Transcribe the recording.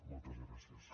moltes gràcies